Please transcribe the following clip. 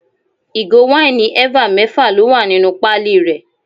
Ìgò wáìnì eva mẹ́fà ló wà nínú pali rẹ.